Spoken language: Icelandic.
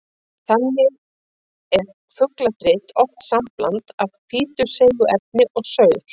Þannig er fugladrit oft sambland af hvítu seigu efni og saur.